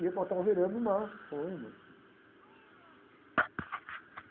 E ia botar o veleiro no mar com a irmã.